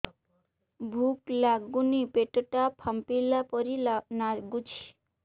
ଭୁକ ଲାଗୁନି ପେଟ ଟା ଫାମ୍ପିଲା ପରି ନାଗୁଚି